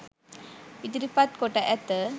ඉදිරිපත් කොට ඇත.